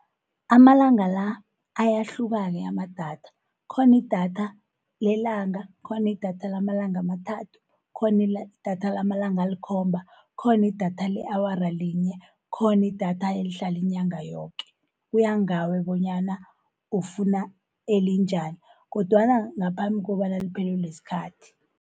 Amalanga la, ayahluka-ke amadatha, kukhona idatha lelanga, kukhona idatha lamalanga amathathu, kukona idatha lamalanga alikhomba. kukhona idatha le-awara linye, kuhona idatha elihlala inyanga yoke. Kuya ngawe bonyana ufuna elinjani, kodwana ngaphambi kobana liphelelwe yisikhathi.